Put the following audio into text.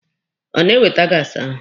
Ọ na-ewete gaasi ahụ?